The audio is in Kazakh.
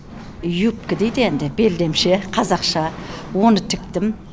юбкі дейді енді белдемше қазақша оны тіктім